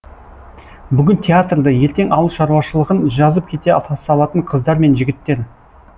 бүгін театрды ертең ауыл шаруашылығын жазып кете салатын қыздар мен жігіттер